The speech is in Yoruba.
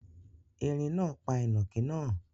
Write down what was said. Ẹ̀rín náà pa ìnàkí náà